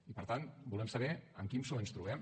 i per tant volem saber amb quin psoe ens trobem